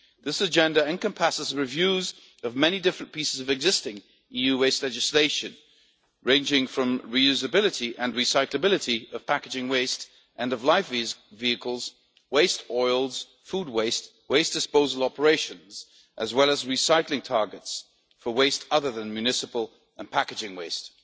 This agenda encompasses and reviews the many different pieces of existing EU legislation, ranging from reusability and recyclability of packaging waste, end of life vehicles, waste oils, food waste and waste disposal operations, as well as recycling targets for waste other than municipal and packaging waste.